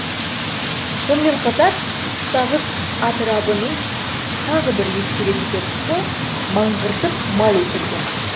сонымен қатар сағыз атырабының тағы бір ескере кетер тұсы мыңғыртып мал өсірген